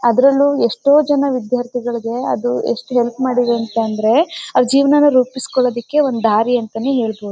ಅದರಲ್ಲೂ ಎಷ್ಟೋ ಜನ ವಿದ್ಯಾರ್ಥಿಗಳಿಗೆ ಅದು ಎಷ್ಟು ಹೆಲ್ಪ್ ಮಾಡಿದೆ ಅಂತ ಅಂದ್ರೆ ಅವರ ಜೀವನ ರೂಪಿಸಿ ಕೊಳ್ಳೋದಕ್ಕೆ ಒಂದು ದಾರಿ ಅಂತಾನೆ ಹೇಳ್ಬಹುದು.